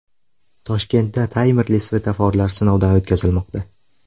Toshkentda taymerli svetoforlar sinovdan o‘tkazilmoqda .